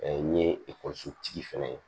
n ye ekɔlisotigi fɛnɛ ye